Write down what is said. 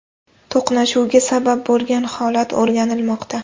To‘qnashuvga sabab bo‘lgan holat o‘rganilmoqda.